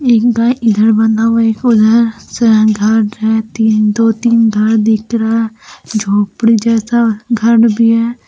एक गाय इधर बंधा हुआ है उधर दो तीन घर दिख रहा है झोपड़ी जैसा घर भी है।